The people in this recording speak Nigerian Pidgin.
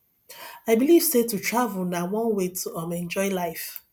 i believe sey to travel na one way to um enjoy life